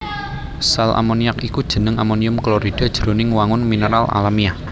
Sal ammoniac iku jeneng amonium klorida jroning wangun mineral alamiah